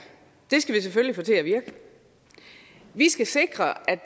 skal vi selvfølgelig få til at virke vi skal sikre at